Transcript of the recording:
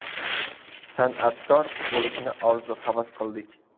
San’atkor bo‘lishni orzu-havas qildik.